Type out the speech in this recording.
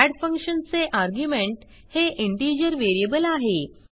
add function चे argument हे integer variable आहे